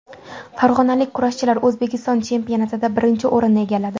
Farg‘onalik kurashchilar O‘zbekiston chempionatida birinchi o‘rinni egalladi.